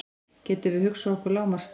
Getum við hugsað okkur lágmarksstærð?